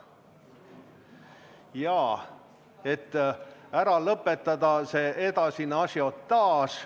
Ja et ära lõpetada edasine ažiotaaž, võtame ...